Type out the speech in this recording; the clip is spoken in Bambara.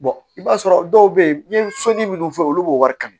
i b'a sɔrɔ dɔw bɛ yen n'i ye soli minnu fɔ olu b'o wari kan